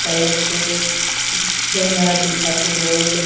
चलत थे बैनर दिखत थे बोर्ड